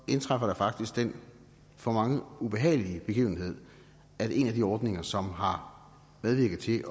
indtræffer den for mange ubehagelige begivenhed at en af de ordninger som har medvirket til at